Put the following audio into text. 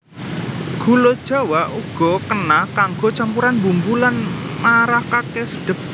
Gula jawa uga kena kanggo campuran bumbu lan marakaké sedhep